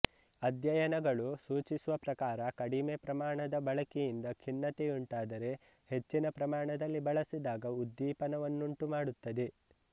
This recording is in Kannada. ಅಧ್ಯಯನಗಳು ಸೂಚಿಸುವ ಪ್ರಕಾರ ಕಡಿಮೆ ಪ್ರಮಾಣದ ಬಳಕೆಯಿಂದ ಖಿನ್ನತೆಯುಂಟಾದರೆ ಹೆಚ್ಚಿನ ಪ್ರಮಾಣದಲ್ಲಿ ಬಳಸಿದಾಗ ಉದ್ದೀಪನವನ್ನುಂಟುಮಾಡುತ್ತದೆ